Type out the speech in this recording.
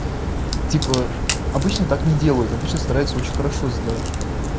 типа обычно так не делают обычно стараются очень хорошо сделать